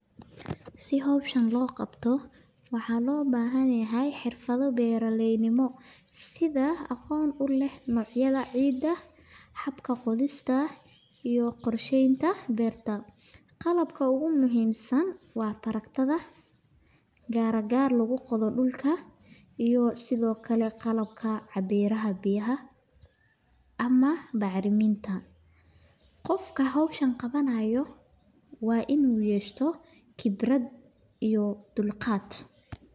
Si howshan loo qabto waxaa loo bahan yahay xirfada beeraleyda, iyo qorsheenta, iyo qalabka, ama bacraminta, qofka howshan qabanaayo waa inuu yeesho khibrad iyo dulqaad.